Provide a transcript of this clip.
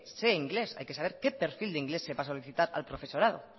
sé inglés hay que saber qué perfil de inglés se va a solicitar al profesorado